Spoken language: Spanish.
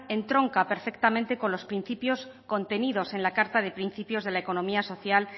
entronca perfectamente con los principios contenidos en la carta de principios de la economía social